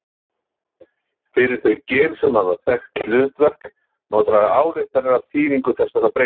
Fyrir þau gen sem hafa þekkt hlutverk má draga ályktanir af þýðingu þessara breytinga.